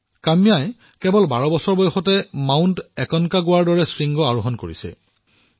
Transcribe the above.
কাম্যাই কেৱল বাৰ বছৰতেই মাউণ্ট একনকাগুৱা মাউণ্ট একনকেগুৱা শৃংগ জয় কৰিবলৈ সমৰ্থ হৈছে